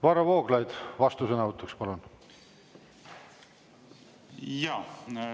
Varro Vooglaid, vastusõnavõtt, palun!